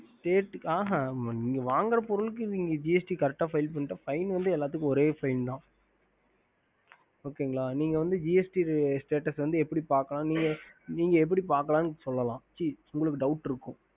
ஹம்